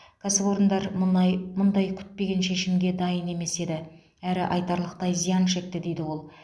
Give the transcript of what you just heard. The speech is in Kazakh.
кәсіпорындар мұндай күтпеген шешімге дайын емес еді әрі айтарлықтай зиян шекті дейді ол